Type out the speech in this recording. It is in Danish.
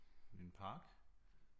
En park